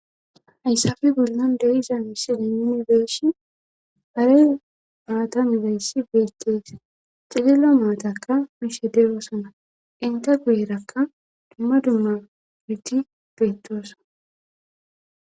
hayssafe bollan deiza misilenunibeeshi hare maata nibeeyssi beettesa cidilla maatakka mishe dewoosana inta gueerakka dumma dumma miti beettoossa